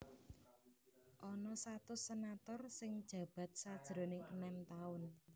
Ana satus senator sing njabat sajroning enem taun